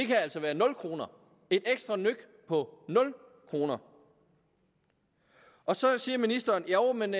kan altså være nul kroner et ekstra nøk på nul kroner og så siger ministeren jo men